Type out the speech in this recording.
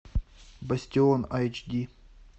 бастион эйч ди